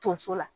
Tonso la